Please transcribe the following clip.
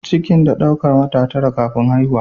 Cikin da daukar wata tara (9) kafin haihuwa.